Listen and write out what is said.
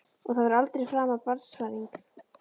Og það verður aldrei framar barnsfæðing.